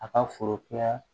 A ka foro kɛ